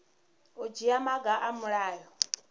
u dzhia maga a mulayo